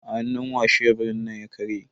A hannu wa sheburin nan ya karye?